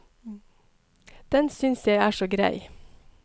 Den synes jeg er så grei.